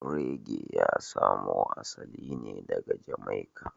Reggae ya samo asali ne daga Jamaica